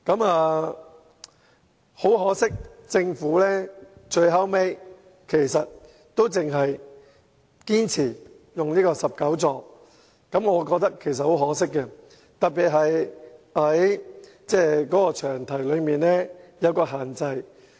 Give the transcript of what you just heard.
不過，政府最後依然堅持只增加至19個座位，我覺得很可惜，特別是受到詳題的限制。